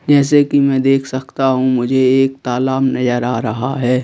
जैसे कि मैं देख सकता हूं मुझे एक तालाब नजर आ रहा है।